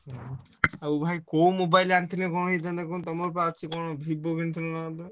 ଆଉ ଭାଇ କୋ mobile ଆଣିଥିଲେ କଣ ହେଇଥାନ୍ତା କହୁନ ତମର ପରା ଅଛି Vivo କିଣିଥିଲ ନା କଣ?